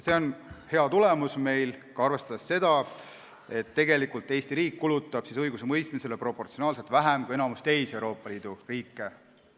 See on hea tulemus, arvestades seda, et Eesti riik kulutab õigusemõistmisele proportsionaalselt, inimese kohta vähem kui enamik teisi Euroopa Liidu riike.